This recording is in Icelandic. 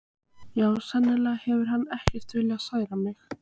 Já, sennilega hefur hann ekki viljað særa þig.